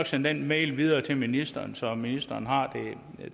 sende den mail videre til ministeren så ministeren har